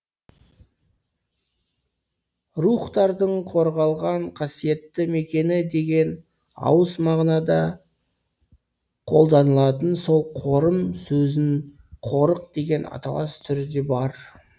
рухтардың қорғалған қасиетті мекені деген ауыс мағынада қолданылатын сол қорым сөзінің қорық деген аталас түрі де бар